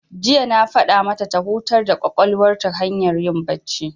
Jiya na faɗa mata ta hutar da ƙwaƙwalwar ta hanyar yin bacci.